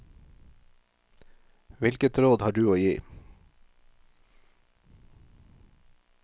Hvilket råd har du å gi?